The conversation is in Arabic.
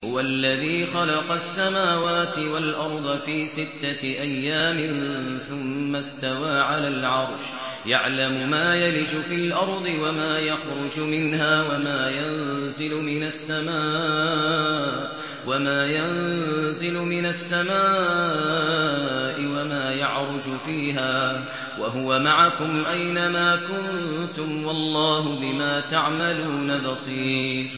هُوَ الَّذِي خَلَقَ السَّمَاوَاتِ وَالْأَرْضَ فِي سِتَّةِ أَيَّامٍ ثُمَّ اسْتَوَىٰ عَلَى الْعَرْشِ ۚ يَعْلَمُ مَا يَلِجُ فِي الْأَرْضِ وَمَا يَخْرُجُ مِنْهَا وَمَا يَنزِلُ مِنَ السَّمَاءِ وَمَا يَعْرُجُ فِيهَا ۖ وَهُوَ مَعَكُمْ أَيْنَ مَا كُنتُمْ ۚ وَاللَّهُ بِمَا تَعْمَلُونَ بَصِيرٌ